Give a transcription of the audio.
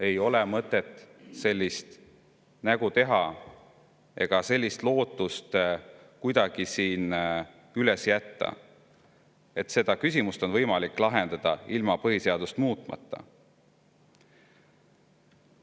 Ei ole mõtet sellist nägu teha ega jätta siin kuidagi üles lootust, et seda küsimust on võimalik lahendada ilma põhiseadust muutmata.